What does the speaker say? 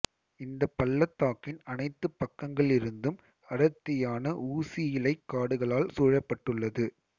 இந்த பள்ளத்தாக்கின் அனைத்துப் பக்கங்களிலிருந்தும் அடர்த்தியான ஊசியிலைக் காடுகளால் சூழப்பட்டுள்ளது